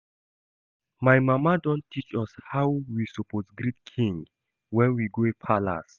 My mama don teach us how we suppose greet king when we go palace